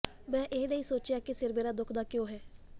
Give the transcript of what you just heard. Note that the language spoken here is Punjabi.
ਮੈ ਇਹ ਨਹੀ ਸੋਚਿਆ ਕਿ ਸਿਰ ਮੇਰਾ ਦੁੱਖਦਾ ਕਿਉਂ ਹੈ